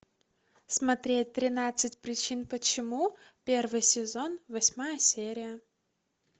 смотреть тринадцать причин почему первый сезон восьмая серия